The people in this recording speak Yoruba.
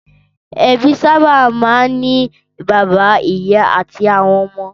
Ẹbí sábà máa ń ní bàbá, ìyá àti àwọn ọmọ.